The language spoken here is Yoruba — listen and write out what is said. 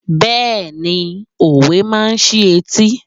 Bẹ́ẹ̀ni, òwe máa ń sí etí.